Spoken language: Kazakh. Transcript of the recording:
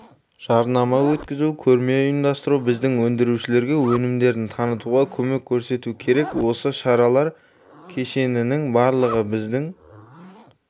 жарнама өткізу көрме ұйымдастыру біздің өндірушілерге өнімдерін танытуға көмек көрсету керек осы шаралар кешенінің барлығыбіздің